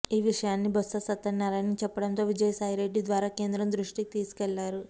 ఈ విషయాన్ని బొత్స సత్యనారాయణకు చెప్పడంతో విజయసాయిరెడ్డి ద్వారా కేంద్రం దృష్టికి తీసుకు వెళ్లారు